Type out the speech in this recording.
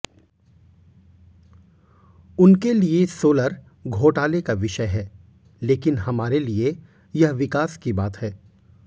उनके लिए सोलर घोटाले का विषय है लेकिन हमारे लिए यह विकास की बात है